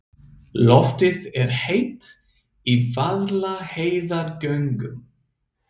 Loftið er heitt í Vaðlaheiðargöngum.